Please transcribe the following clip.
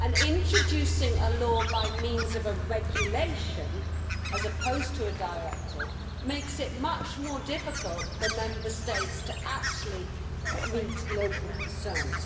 Introducing a law by means of a regulation, as opposed to a directive, makes it much more difficult for Member States to actually meet local concerns.